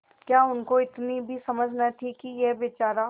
क्या उनको इतनी भी समझ न थी कि यह बेचारा